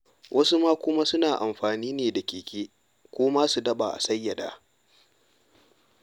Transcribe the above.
Wasu ma kuma suna amfani ne da keke ko ma su daɓa a sayyada.